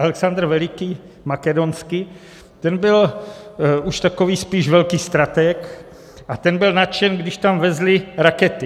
Alexandr Veliký Makedonský, ten byl už takový spíš velký stratég a ten byl nadšen, když tam vezli rakety.